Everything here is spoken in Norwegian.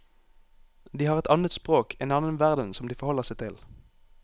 De har et annet språk, en annen verden som de forholder seg til.